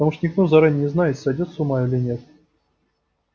потому что никто заранее не знает сойдёт с ума или нет